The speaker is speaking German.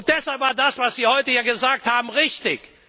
Deshalb war das, was Sie heute hier gesagt haben, richtig.